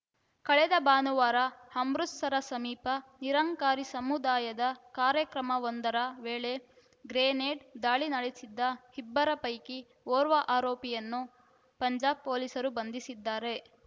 ಕಳೆದ ಭಾನುವಾರ ಅಮೃತಸರ ಸಮೀಪ ನಿರಂಕಾರಿ ಸಮುದಾಯದ ಕಾರ್ಯಕ್ರಮವೊಂದರ ವೇಳೆ ಗ್ರೆನೇಡ್‌ ದಾಳಿ ನಡೆಸಿದ್ದ ಇಬ್ಬರ ಪೈಕಿ ಓರ್ವ ಆರೋಪಿಯನ್ನು ಪಂಜಾಬ್‌ ಪೊಲೀಸರು ಬಂಧಿಸಿದ್ದಾರೆ